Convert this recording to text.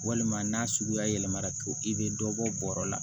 Walima n'a suguya yɛlɛmara to i bɛ dɔ bɔ bɔrɔ la